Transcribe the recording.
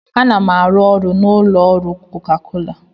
Ana m arụ ọrụ n'ụlọ ọrụ koka kola